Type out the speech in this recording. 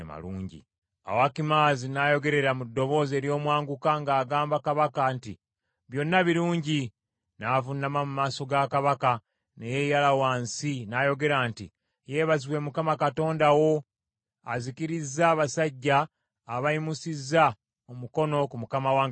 Awo Akimaazi n’ayogerera mu ddoboozi ery’omwanguka ng’agamba kabaka nti, “Byonna birungi.” N’avuunama mu maaso ga kabaka, ne yeeyala wansi n’ayogera nti, “Yeebazibwe Mukama Katonda wo, azikirizza abasajja abayimusizza omukono ku mukama wange kabaka.”